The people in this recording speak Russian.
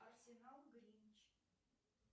арсенал гринч